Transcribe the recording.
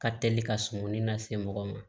Ka teli ka sumani nase mɔgɔ ma